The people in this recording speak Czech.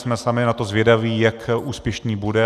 Jsme sami na to zvědaví, jak úspěšný bude.